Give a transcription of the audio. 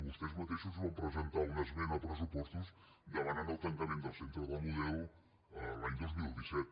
vostès mateixos van presentar una esmena a pressupostos demanant el tancament del centre de la model l’any dos mil disset